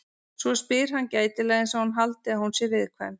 Svo spyr hann gætilega einsog hann haldi að hún sé viðkvæm.